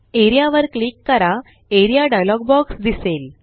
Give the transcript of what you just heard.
A R E A वर click करा A R E A dialog box दिसेल